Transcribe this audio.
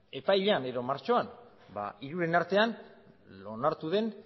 martxoan hiruren artean onartu den